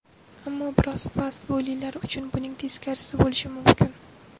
Ammo biroz past bo‘ylilar uchun buning teskarisi bo‘lishi mumkin.